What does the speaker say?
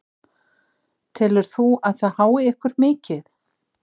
Telur þú að það hái ykkur mikið?